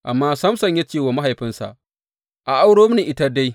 Amma Samson ya ce wa mahaifinsa, A auro mini ita dai.